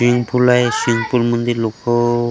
swimming pool आहे swimming पूलमध्ये लोकं --